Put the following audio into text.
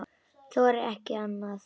Þorði ekki annað.